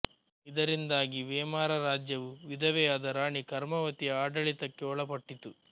ಇದರಿಂದಾಗಿ ಮೇವಾರ ರಾಜ್ಯವು ವಿಧವೆಯಾದ ರಾಣಿ ಕರ್ಮವತಿಯ ಆಡಳಿತಕ್ಕೆ ಒಳಪಟ್ಟಿತು